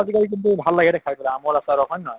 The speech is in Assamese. আজি কালি কিন্তু ভাল লাগে দে খাই পেলে আমৰ আচাৰ হৌক, হয় নে নহয়?